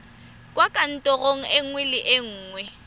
kwa kantorong nngwe le nngwe